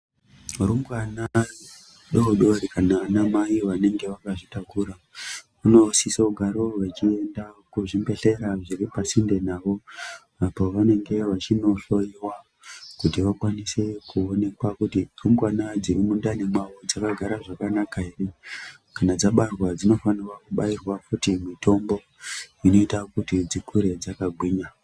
Rumbwana doodori kana vanamai vanenge vakazvitakura vanosisa kugara vechienda kuzvibhedhlera zviri pasinde navo apo vanenge vachinohloyiwa kuti vakwanise kuonekwa kuti rumbwana dziri mundani mwawo dzakagara zvakanaka ere kana dzabarwa dzinofanira kubairwa futi mitombo inoita kuti dzikure dzakagwinya.